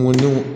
Mɔndenw